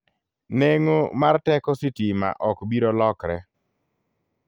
Neng'o mar teko sitima ok biro lokre.